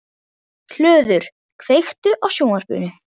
Hlöður, kveiktu á sjónvarpinu.